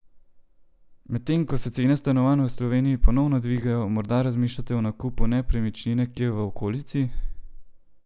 Medtem ko se cene stanovanj v Sloveniji ponovno dvigajo, morda razmišljate o nakupu nepremičnine kje v okolici?